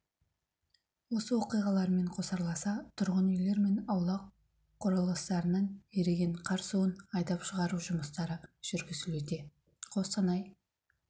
осы оқиғалармен қосарласа тұрғын үйлер мен аула құрылыстарынан еріген қар суын айдап шығару жұмыстары жүргізілуде қостанай